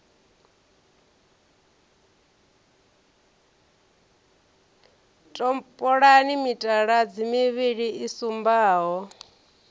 topolani mitaladzi mivhili i sumbaho